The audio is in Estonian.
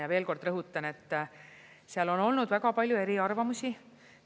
Ja veel kord rõhutan, et seal on olnud väga palju eriarvamusi.